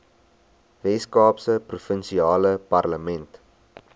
weskaapse provinsiale parlement